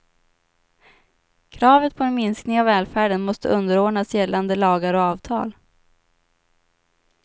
Kravet på en minskning av välfärden måste underordnas gällande lagar och avtal.